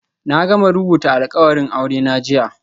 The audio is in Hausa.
Na gama rubuta alkawarin aurena jiya